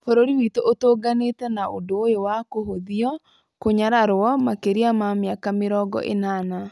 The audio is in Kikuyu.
Bũrũri witũ ũtũnganĩtĩ na ũndũ ũyũ wa kũhũthio , kũnyararwo makĩria ma mĩaka mĩrongo ĩnana.